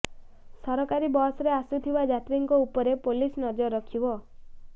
ସରକାରୀ ବସରେ ଆସୁଥିବା ଯାତ୍ରୀଙ୍କ ଉପରେ ପୋଲିସ ନଜର ରଖିବ